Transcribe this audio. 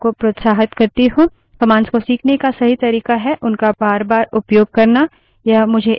commands को सीखने का सही तरीका है उनका बारबार उपयोग करना